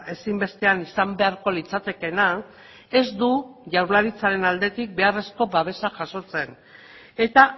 ezinbestean izan beharko litzatekeena ez du jaurlaritzaren aldetik beharrezko babesa jasotzen eta